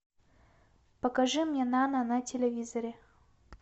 покажи мне нано на телевизоре